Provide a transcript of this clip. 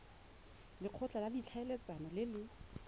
lekgotla la ditlhaeletsano le le